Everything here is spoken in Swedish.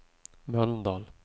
Mölndal